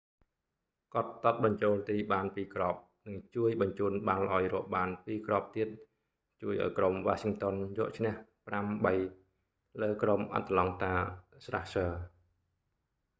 គាត់ទាត់បញ្ចូលទីបាន 2 គ្រាប់ និងជួយបញ្ជូនបាល់ឲ្យរកបាន 2 គ្រាប់ទៀត ជួយឱ្យក្រុម washington យកឈ្នះ 5-3 លើក្រុម atlanta thrashers